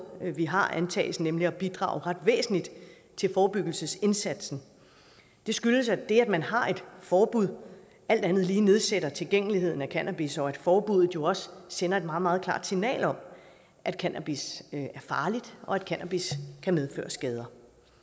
vi har antages nemlig at bidrage ret væsentligt til forebyggelsesindsatsen det skyldes at det at man har et forbud alt andet lige nedsætter tilgængeligheden af cannabis og at forbuddet jo også sender et meget meget klart signal om at cannabis er farligt og at cannabis kan medføre skader